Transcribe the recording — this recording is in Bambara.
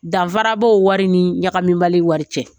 Danfara b'ɔ o wari ni ɲagamibali wari cɛ.